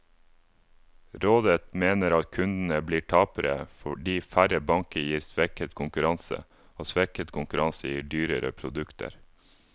Rådet mener at kundene blir tapere, fordi færre banker gir svekket konkurranse, og svekket konkurranse gir dyrere produkter.